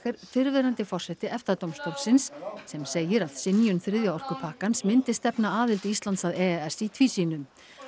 fyrrverandi forseti EFTA dómstólsins sem segir að synjun þriðja orkupakkans myndi stefna aðild Íslands að e e s í tvísýnu